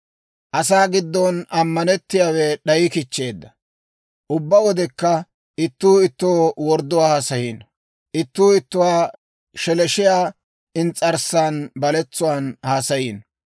Ubbaa wodekka ittuu ittoo wordduwaa haasayiino; ittuu ittuwaa sheleeshshiyaa ins's'arssan baletsuwaan haasayiino.